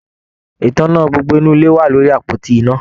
Ìtàná gbogbo inú ilé wà lórí àpótí iná.